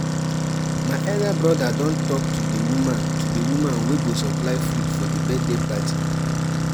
how um you plan to um handle unexpected um weather changes during di thanksgiving service?